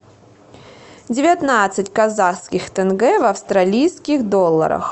девятнадцать казахских тенге в австралийских долларах